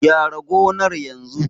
Gyara gonar yanzu!